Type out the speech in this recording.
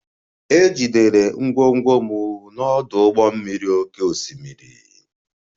E jidere ngwongwo m n'ọdụ ụgbọ mmiri oké osimiri